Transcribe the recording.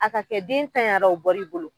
A ka kɛ den taɲara o bɔl'i bolo